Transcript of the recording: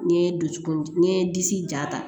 N ye dusukolo n ye disi ja ta